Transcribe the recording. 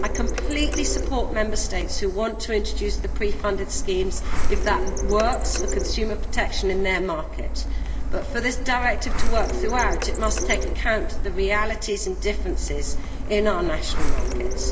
I completely support Member States who want to introduce pre funded schemes if that works for consumer protection in their market, but for this directive to work throughout, it must take account of the realities and differences in our national markets.